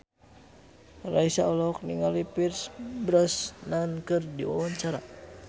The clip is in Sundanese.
Raisa olohok ningali Pierce Brosnan keur diwawancara